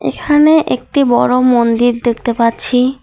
এখানে একটি বড়ো মন্দির দেখতে পাচ্ছি।